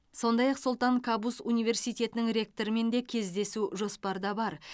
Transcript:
сондай ақ сұлтан кабус университетінің ректорымен де жүздесу жоспарда бар